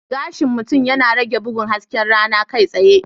Gashin mutum yana rage bugun hasken rana kai tsaye.